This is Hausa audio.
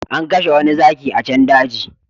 An kashe wani zaki a can daji